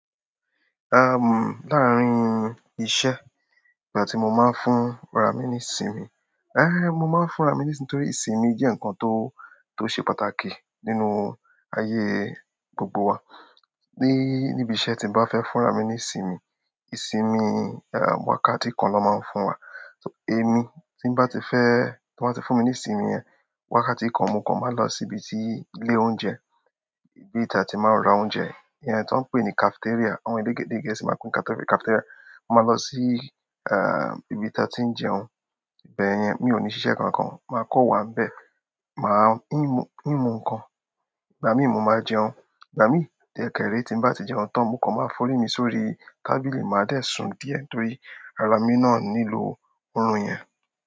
Ehm, láàárín iṣẹ́, ìgbà tí mo ma ń fún ara mi ní ìsinmi éh, mo máa ń fún ra mi nísinmi nítorí ìsinmi jẹ́ ǹkan tó, tó ṣe pàtàkì nínú ayé gbogbo wa. Ní, níbi iṣẹ́ tí n bá fẹ́ fún ra mi ní ìsinmi, ìsinmi, eh, wákàtí kan lọ́ ma ń fún wa. Ẹ̀mi tí n bá ti fẹ́, tí wọ́n bá ti fún mi ní ìsinmi yẹn, wákàtí kan, mo kàn ma lọ síbi tí ilé oúnjẹ, ibi tí a ti máa ń ra oúnjẹ, ìyẹn tí wọ́n ń pè ní cafeteria. Àwọn elédè dè e Gẹ̀ẹ́sì máa kún cafeteria. Mo máa lọ sí, ah, ibi tí a ti ń jẹun, ibẹ̀ yẹn mi ò ní ṣiṣẹ́ kan kan. Màá kàn wà ń bẹ̀, màá ńmu, ńmu ǹkan, ìgbà míì mo ma jẹun, ìgbà míì dẹ̀ kẹ̀ ré tí n bá ti jẹun tán, mo kàn ma forí mi sórí tábìlì, màá dẹ̀ sùn díẹ̀ torí ara mi náà nílò orun yẹn.